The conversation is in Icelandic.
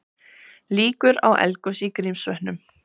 Líkur á eldgosi í Grímsvötnum